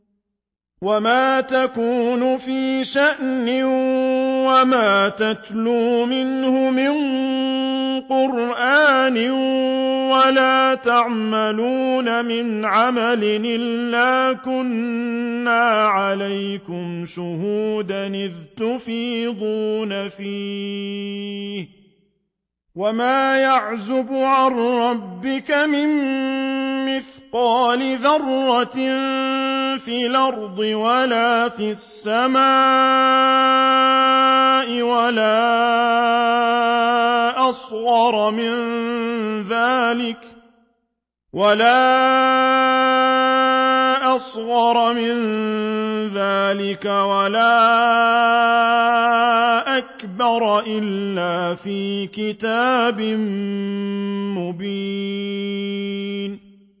وَمَا تَكُونُ فِي شَأْنٍ وَمَا تَتْلُو مِنْهُ مِن قُرْآنٍ وَلَا تَعْمَلُونَ مِنْ عَمَلٍ إِلَّا كُنَّا عَلَيْكُمْ شُهُودًا إِذْ تُفِيضُونَ فِيهِ ۚ وَمَا يَعْزُبُ عَن رَّبِّكَ مِن مِّثْقَالِ ذَرَّةٍ فِي الْأَرْضِ وَلَا فِي السَّمَاءِ وَلَا أَصْغَرَ مِن ذَٰلِكَ وَلَا أَكْبَرَ إِلَّا فِي كِتَابٍ مُّبِينٍ